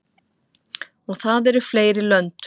Og það eru fleiri lönd.